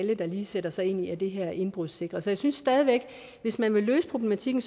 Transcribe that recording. alle der lige sætter sig ind i det her er indbrudssikret så jeg synes stadig væk at hvis man ville løse problematikken